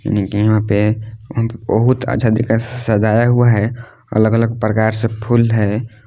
पे बहुत अच्छा दिखा सजाया हुआ है अलग-अलग प्रकार से फूल है।